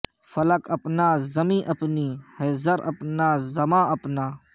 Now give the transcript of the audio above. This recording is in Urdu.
فلک اپنا زمیں اپنی ہے زر اپنا زماں اپنا